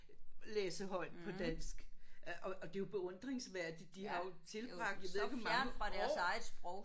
Læse højt på dansk og og det er jo beundringsværdigt. De har jo tilbragt så mange år